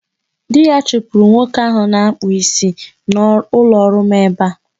Di ya chụpụrụ nwoke ahụ na-akpụ isi n'ụlọọrụ m ebe a.